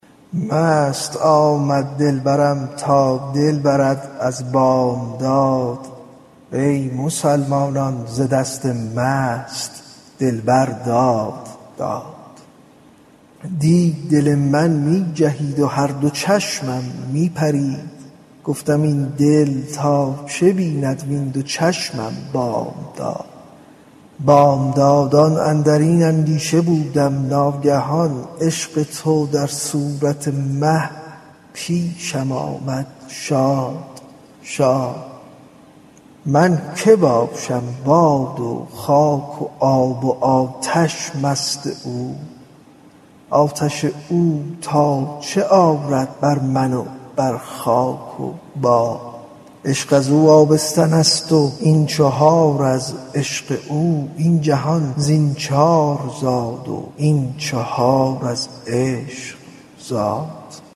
مست آمد دلبرم تا دل برد از بامداد ای مسلمانان ز دست مست دلبر داد داد دی دل من می جهید و هر دو چشمم می پرید گفتم این دل تا چه بیند وین دو چشمم بامداد بامدادان اندر این اندیشه بودم ناگهان عشق تو در صورت مه پیشم آمد شاد شاد من که باشم باد و خاک و آب و آتش مست اوست آتش او تا چه آرد بر من و بر خاک و باد عشق از او آبستن ست و این چهار از عشق او این جهان زین چار زاد و این چهار از عشق زاد